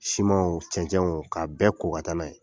Siman o cɛncɛnw o ka bɛɛ ko ka taa n'a ye.